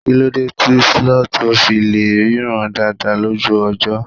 kilode ti sloth o fi le ríran dada lójú ọjọ